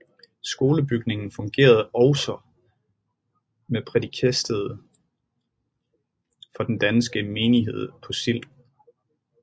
Skolebygningen fungerede også som prædikested for den danke menighed på Sild